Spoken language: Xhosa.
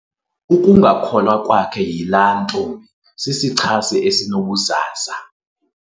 Ukungakholwa kwakhe yilaa ntombi sisichasi esinobuzaza.